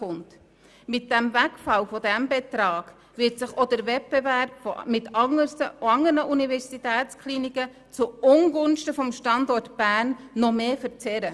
Mit dem Wegfall dieses Betrags wird sich auch der Wettbewerb mit anderen Universitätskliniken zu Ungunsten des Standorts Bern zusätzlich verzerren.